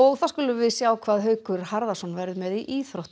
þá skulum við sjá hvað Haukur Harðarson verður með í íþróttum